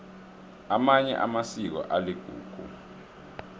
amanye amasiko aligugu